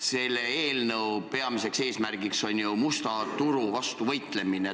Selle eelnõu peamine eesmärk on ju musta turu vastu võitlemine.